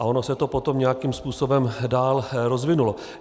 A ono se to potom nějakým způsobem dál rozvinulo.